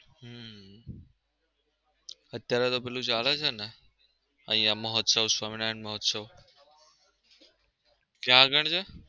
હમ અત્યરે તો પેલું ચાલે છે ને? અહીંયા મહોત્સવ સ્વામિનારાયણ મહોત્સવ ક્યાં આગળ છે